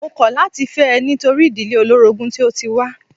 Mó kọ̀ láti fẹ́ ẹ nítorí ìdílé olórogún tí o tí wá.